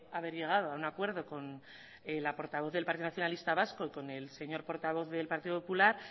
haber llegado a un acuerdo con la portavoz del partido nacionalista vasco y con el señor portavoz del partido popular